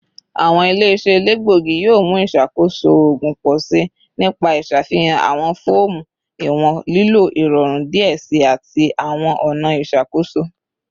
Awọn ile-iṣẹ elegbogi yoo mu iṣakoso oogun pọ si nipa iṣafihan awọn fọọmu iwọn lilo irọrun diẹ sii ati awọn ọna iṣakoso